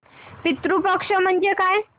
पितृ पक्ष म्हणजे काय